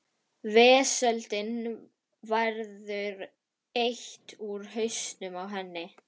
Vesöldinni verður eytt úr hausnum á henni.